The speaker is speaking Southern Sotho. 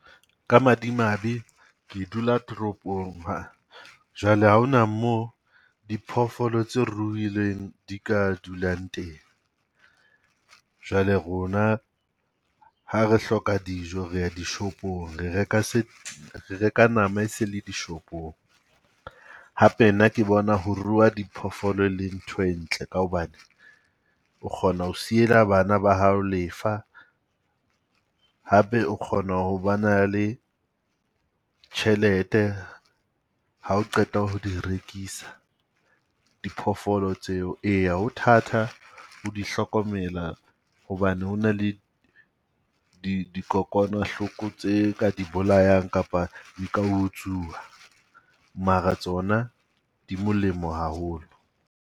Ka madimabe ke dula toropong, jwale ha hona moo diphoofolo tse ruilweng di ka dulang teng. Jwale rona ha re hloka dijo re ya dishopong, re reka se re reka nama e se le dishopong. Hape nna ke bona ho ruwa diphoofolo e le ntho e ntle, ka hobane o kgona ho siela bana ba hao lefa hape o kgona ho ba na le tjhelete ha o qeta ho di rekisa, diphoofolo tseo. Eya ho thata ho di hlokomela hobane ho na le dikokwanahloko tse ka di bolayang kapa di ka utsuwa mara tsona di molemo haholo.